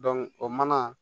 o mana